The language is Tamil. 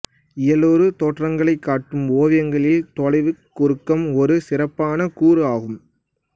இயலுறு தோற்றங்களைக் காட்டும் ஓவியங்களில் தொலைவுக் குறுக்கம் ஒரு சிறப்பான கூறு ஆகும்